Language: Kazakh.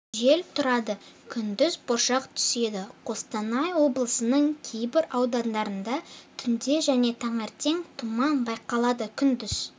жел тұрады күндіз бұршақ түседі қостанай облысының кейбір аудандарында түнде және таңертең тұман байқалады күндіз